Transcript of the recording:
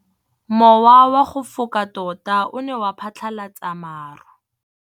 Mowa o wa go foka tota o ne wa phatlalatsa maru.